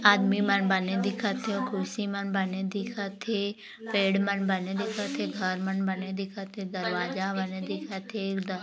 आदमी मन बने दिखत है कुर्सी मन बने दिखत है पेड़ मन बने दिखत है घर मन बने दिखत दरवाजा बने दिखत है।